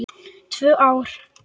Tvö ár!